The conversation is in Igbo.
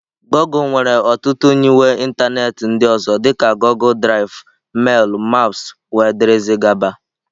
Goọgle nwere ọtụtụ nyiwe ịntanetị ndị ọzọ dị ka Goọgle Drive, mail, maps wdg.